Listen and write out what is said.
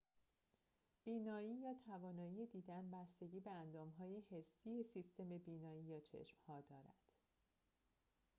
بینایی یا توانایی دیدن بستگی به اندام‌های حسی سیستم بینایی یا چشم‌ها دارد